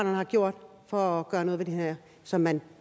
har gjort for at gøre noget ved det her som man